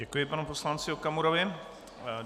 Děkuji panu poslanci Okamurovi.